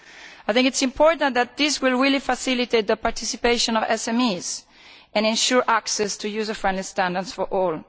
I think it is important that this will really facilitate the participation of SMEs and ensure access to user friendly standards for all.